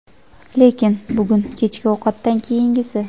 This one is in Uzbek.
lekin bugun kechki ovqatdan keyingisi.